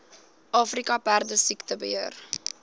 afrika perdesiekte beheer